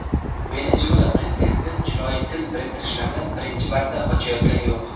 Venesuela prezidenti jinoiy til biriktirishlarni birinchi marta ochayotgani yo‘q.